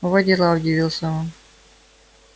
во дела удивился он